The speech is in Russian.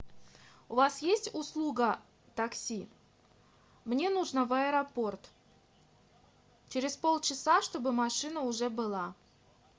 у вас есть услуга такси мне нужно в аэропорт через полчаса чтобы машина уже была